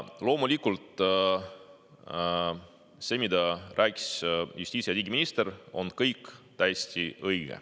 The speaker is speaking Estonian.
Loomulikult see, mida rääkis justiits‑ ja digiminister, on kõik täiesti õige.